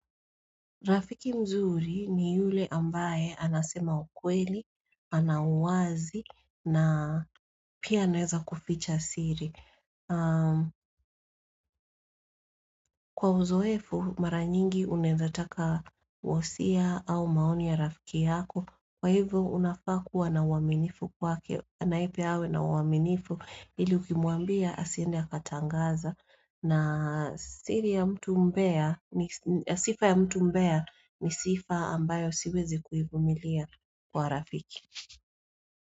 Rafiki mzuri ni yule ambaye anasema ukweli, ana uwazi, na pia anezakuficha siri. Kwa uzoefu, mara nyingi unendataka wosia au maoni ya rafiki yako. Kwa hivyo, unafaa kuwa na uaminifu kwake, anaipe awe na uaminifu, ili ukimuambia asiendi akatangaza. Na sifa ya mtu mbea ni sifa ambayo siwezi kuivumilia kwa rafiki.